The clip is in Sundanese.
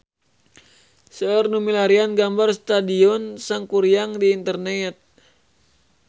Seueur nu milarian gambar Stadion Sangkuriang di internet